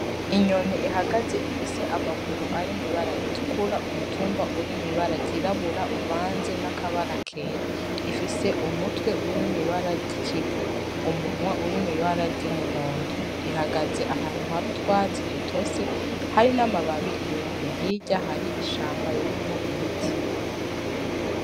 Inyoni ihagaze ifise amaguru ari mwibara ritukura umutumba uri mw'ibara ryirabura uvanze n'akabara kera ifise umutwe uri mw'ibara ry'ikivu umunwa uri mw'ibara ry'umuhondo ihagaze ahantu hari utwatsi dutose hari n'amababi yumye hirya hari ishamba ririmwo ibiti.